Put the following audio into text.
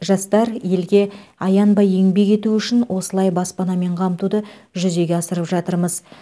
жастар елге аянбай еңбек етуі үшін осылай баспанамен қамтуды жүзеге асырып жатырмыз